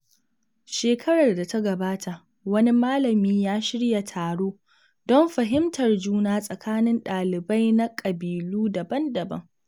Shekarar da ta gabata, wani malami ya shirya taro don fahimtar juna tsakanin dalibai na ƙabilu daban-daban.